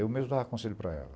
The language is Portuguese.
Eu mesmo dava conselho para ela.